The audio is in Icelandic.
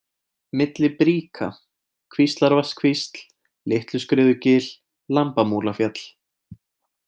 Milli bríka, Kvíslarvatnskvísl, Litluskriðugil, Lambamúlafjall